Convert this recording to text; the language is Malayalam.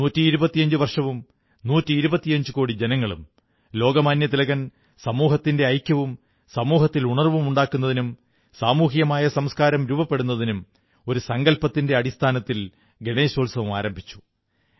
നൂറ്റിയിരുപത്തിയഞ്ചു വർഷവും നൂറ്റിയിരുപത്തിയഞ്ചു കോടി ജനങ്ങളും ലോകമാന്യ തിലകൻ സമൂഹത്തിന്റെ ഐക്യവും സമൂഹത്തിൽ ഉണർവ്വും ഉണ്ടാക്കുന്നതിനും സമൂഹികമായ സംസ്കാരം രൂപപ്പെടുന്നതിനും ഒരു സങ്കല്പത്തിന്റെ അടിസ്ഥാനത്തിൽ ഗണേശോത്സവം ആരംഭിച്ചു